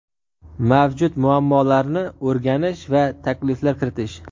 Mavjud muammolarni o‘rganish va takliflar kiritish.